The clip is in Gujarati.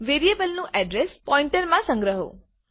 વેરિયેબલનું અડ્રેસ પોઈન્ટરમાં સંગ્રહો